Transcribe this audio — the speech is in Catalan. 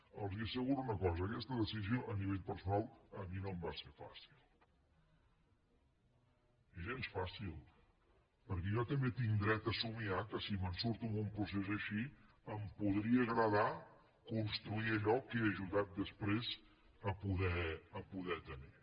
els asseguro una cosa aquesta decisió a nivell personal a mi no em va ser fàcil gens fàcil perquè jo també tinc dret a somniar que si me’n surto d’un procés així em podria agradar construir allò que he ajudat després a poder tenir